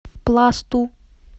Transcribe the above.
пласту